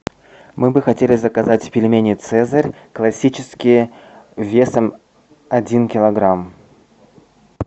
мы бы хотели заказать пельмени цезарь классические весом один килограмм